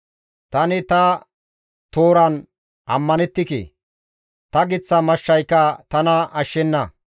Tani ta tooran ammanettike; ta giththa mashshayka tana ashshenna.